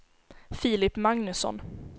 Filip Magnusson